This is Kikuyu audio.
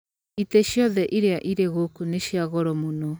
Itĩ ciothe iria irĩ gũkũ nĩ cia goro mũno.